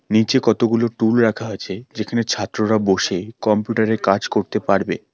নীচে কতগুলো টুল রাখা আছে যেখানে ছাত্ররা বসে কম্পিউটার -এ কাজ করতে পারবে।